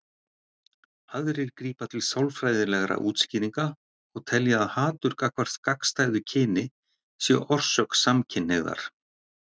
Aðrir grípa til sálfræðilegra útskýringa og telja að hatur gagnvart gagnstæðu kyni sé orsök samkynhneigðar.